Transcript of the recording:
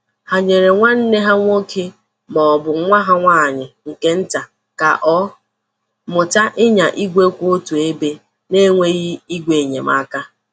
Ha nyeere nwanne ha nwoke ma ọ bụ nwa ha nwanyị nke nta ka ọ mụta ịnya igwe kwụ otu ebe na-enweghị ígwè enyemaka.